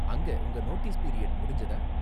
அங்க உங்க notice period முடிஞ்சதா?